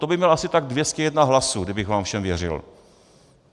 To by měl asi tak 201 hlasů, kdybych vám všem věřil.